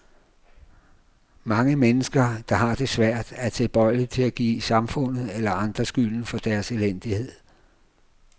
Mange mennesker, der har det svært, er tilbøjelige til at give samfundet eller andre skylden for deres elendighed.